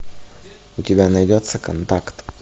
у тебя найдется контакт